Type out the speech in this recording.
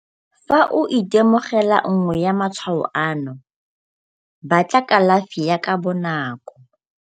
Fa o itemogela nngwe ya matshwao ano, batla kalafi ka bonako.